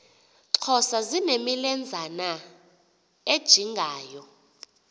xhosa zinemilenzana ejingayo